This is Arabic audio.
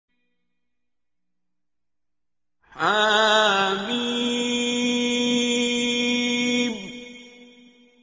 حم